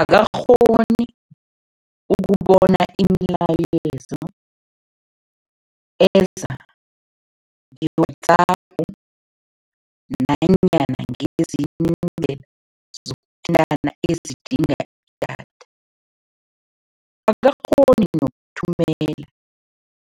Akakghoni ukubona imilayezo eza nge-WhatsApp nanyana ngezinye iindlela zokuthintana ezidinga idatha. Akakghoni nokuthumela